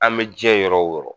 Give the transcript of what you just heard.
An bɛ diɲɛ yɔrɔ o yɔrɔ